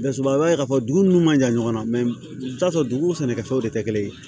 Dasuba ye k'a fɔ dugu ninnu man jan ɲɔgɔn na i bɛ t'a sɔrɔ dugu sɛnɛkɛfɛnw de tɛ kelen ye